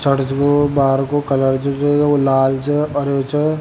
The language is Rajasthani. बाहर के कलर छे वो लाल छ हरो छ।